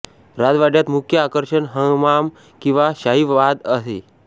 राजवाड्यात मुख्य आकर्षण हमाम किंवा शाही बाथ आहे